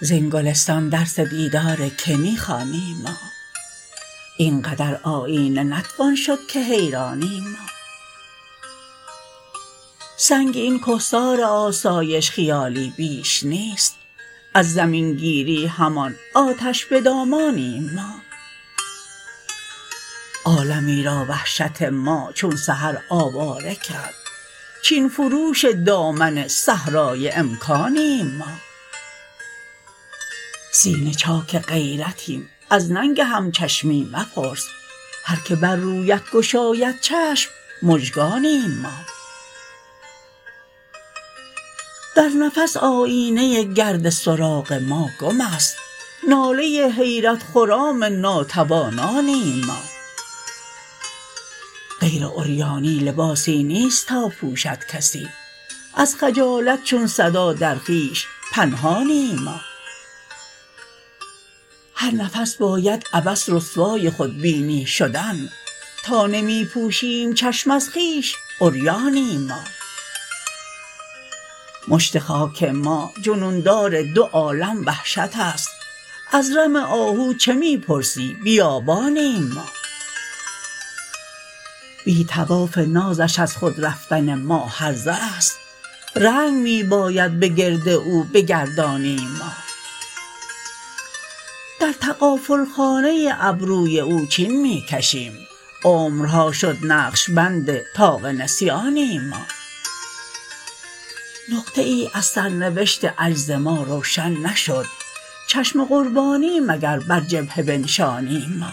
زین گلستان درس دیدارکه می خوانیم ما اینقدر آیینه نتوان شدکه حیرانیم ما سنگ این کهسار آسایش خیالی بیش نیست از زمینگیری همان آتش به دامانیم ما عالمی را وحشت ما چون سحرآواره کرد چین فروش دامن صحرای امکانیم ما سینه چاک غیرتیم از ننگ همچشمی مپرس هرکه بر رویت گشاید چشم مژگانیم ما در نفس آیینه گرد سراغ ماگم است ناله حیرت خرام ناتوانانیم ما غیر عریانی لباسی نیست تا پوشدکسی ازخجالت چون صدا در خویش پنهانیم ما هرنفس باید عبث رسوای خودبینی شدن تا نمی پوشیم چشم ازخویش عریانیم ما مشت خاک ما جنون دار دو عالم وحشت است از رم آهو چه می پرسی بیابانیم ما بی طواف نازش از خود رفتن ما هرزه است رنگ می باید به گرد او بگردانیم ما در تغافلخانه ابروی او چین می کشیم عمرها شد نقشبند طاق نسیانیم ما نقطه ای از سرنوشت عجزما روشن نشد چشم قربانی مگربر جبهه بنشانیم ما